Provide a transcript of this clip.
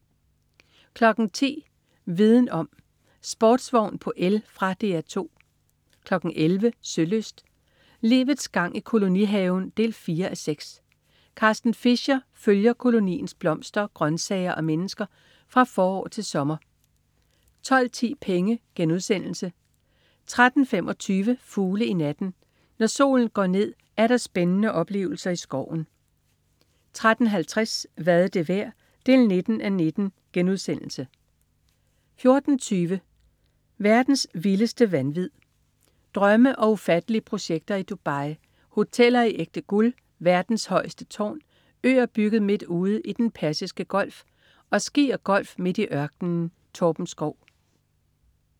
10.00 Viden om: Sportsvogn på el. Fra DR 2 11.00 Sølyst: Livets gang i kolonihaven 4:6. Carsten Fischer følger koloniens blomster, grøntsager og mennesker fra forår til sommer 12.10 Penge* 13.25 Fugle i natten. Når solen går ned, er der spændende oplevelser i skoven 13.50 Hvad er det værd? 19:19* 14.20 Verdens vildeste vanvid. Drømme og ufattelige projekter i Dubai. Hoteller i ægte guld. Verdens højeste tårn. Øer bygget midt ude i Den Persiske Golf. Og ski og golf midt i ørkenen. Torben Schou